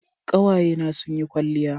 kawaye na sun yi kwalliya